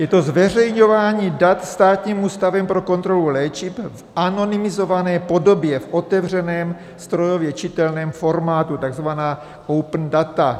Je to zveřejňování dat Státním ústavem pro kontrolu léčiv v anonymizované podobě v otevřeném, strojově čitelném formátu, takzvaná open data.